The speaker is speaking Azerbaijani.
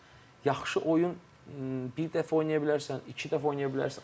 Yaxşı oyun bir dəfə oynaya bilərsən, iki dəfə oynaya bilərsən.